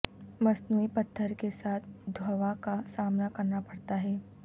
مصنوعی پتھر کے ساتھ دھواں کا سامنا کرنا پڑتا ہے